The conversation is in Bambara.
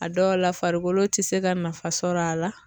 A dɔw la farikolo ti se ka nafa sɔrɔ a la